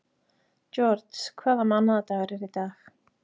George, hvaða mánaðardagur er í dag?